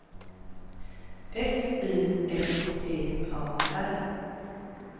S Y F T A R